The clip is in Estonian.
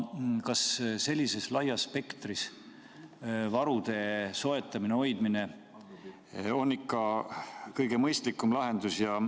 Kas sellises laias spektris varude soetamine-hoidmine on ikka kõige mõistlikum lahendus?